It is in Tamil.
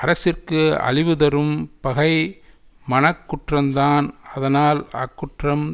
அரசிற்கு அழிவுதரும் பகை மனக்குற்றந்தான் அதனால் அக்குற்றம்